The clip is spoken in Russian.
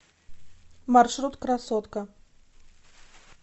маршрут красотка